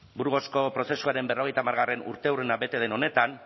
burgosko prozesuaren berrogeita hamargarrena urteurrena bete den honetan